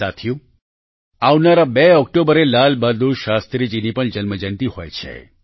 સાથીઓ આવનારા 2 ઓક્ટોબરે લાલ બહાદુર શાસ્ત્રીજીની પણ જન્મજયંતિ હોય છે